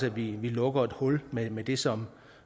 at vi lukker et hul med med det som